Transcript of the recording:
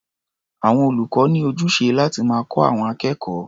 Àwọn olùkọ́ ní ojúṣe láti máa kọ́ àwọn akẹ́kọ̀ó.